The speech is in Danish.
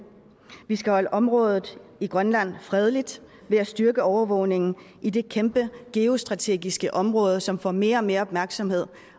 vi skal holde området i grønland fredeligt ved at styrke overvågningen i det kæmpe geostrategiske område som får mere og mere opmærksomhed